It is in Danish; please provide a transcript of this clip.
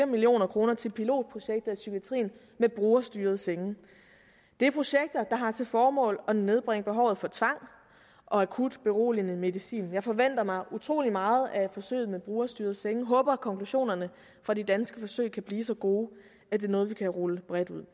million kroner til pilotprojekter i psykiatrien med brugerstyrede senge det er projekter der har til formål at nedbringe behovet for tvang og akut beroligende medicin jeg forventer mig utrolig meget af forsøget med brugerstyrede senge jeg håber at konklusionerne fra de danske forsøg kan blive så gode at det er noget vi kan rulle bredt ud